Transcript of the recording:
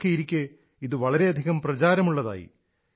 നോക്കിയിരിക്കെ ഇത് വളരെയധികം പ്രചാരമുള്ളതായി